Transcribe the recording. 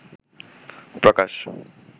প্রকাশ